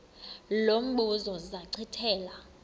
lo mbuzo zachithela